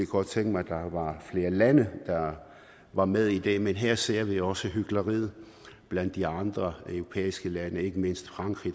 godt tænke mig at der var flere lande der var med i det men her ser vi også hykleriet blandt de andre europæiske lande ikke mindst frankrig